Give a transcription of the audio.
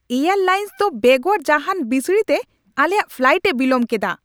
Air lines ᱫᱚ ᱵᱮᱜᱚᱨ ᱡᱟᱦᱟᱱ ᱵᱤᱥᱲᱤ ᱛᱮ ᱟᱞᱮᱭᱟᱜ ᱯᱷᱞᱟᱭᱤᱴ ᱮ ᱵᱤᱞᱚᱢ ᱠᱮᱫᱟ ᱾